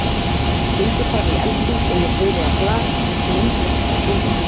Gengur fram í eldhús og ég heyri að glas splundrast á gólfinu.